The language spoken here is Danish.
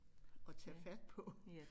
At tage fat på